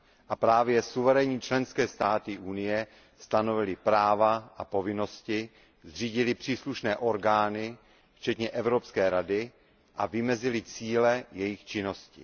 A právě suverénní členské státy Evropské unie stanovily práva a povinnosti, zřídily příslušné orgány včetně Evropské rady a vymezily cíle jejich činnosti.